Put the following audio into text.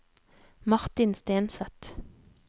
Martin Stenseth